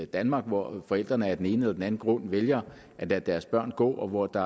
danmark hvor forældrene af den ene eller den anden grund vælger at lade deres børn gå og hvor der